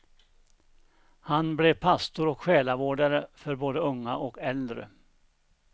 Han blev pastor och själavårdare för både unga och äldre.